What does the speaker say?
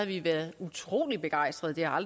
vi været utrolig begejstrede det har